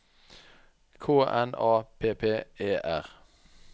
K N A P P E R